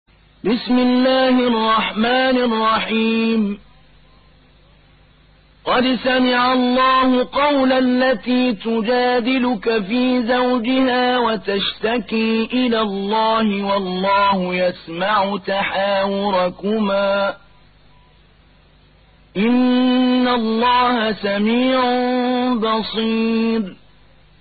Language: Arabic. قَدْ سَمِعَ اللَّهُ قَوْلَ الَّتِي تُجَادِلُكَ فِي زَوْجِهَا وَتَشْتَكِي إِلَى اللَّهِ وَاللَّهُ يَسْمَعُ تَحَاوُرَكُمَا ۚ إِنَّ اللَّهَ سَمِيعٌ بَصِيرٌ